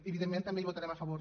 evidentment també hi votarem a favor